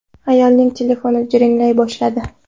Ayolning telefoni jiringlay boshladi.